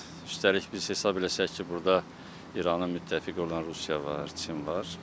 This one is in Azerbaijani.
Üstəlik biz hesab eləsək ki, burda İranın müttəfiqi olan Rusiya var, Çin var.